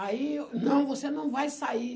Aí, não, você não vai sair.